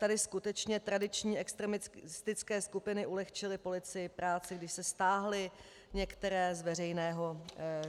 Tady skutečně tradiční extremistické skupiny ulehčily policii práci, když se stáhly některé z veřejného